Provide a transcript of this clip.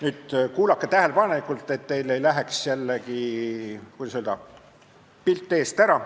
Nüüd kuulake tähelepanelikult, et teil ei läheks jällegi, kuidas öelda, pilt eest ära.